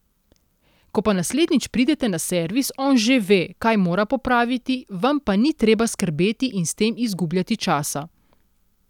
Ko pa naslednjič pridete na servis, on že ve, kaj mora popraviti, vam pa ni treba skrbeti in s tem izgubljati časa.